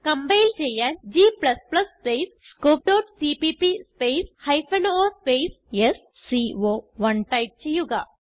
compile ചെയ്യാൻ g space scope dot CPP space o space സ്കോ1 type ചെയ്യുക